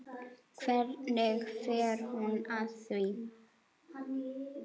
Hvernig fer hún að því?